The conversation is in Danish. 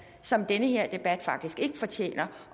som den her debat faktisk ikke fortjener